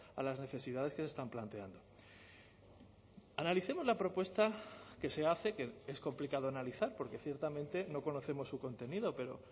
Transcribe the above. a las necesidades que se están planteando analicemos la propuesta que se hace que es complicado analizar porque ciertamente no conocemos su contenido pero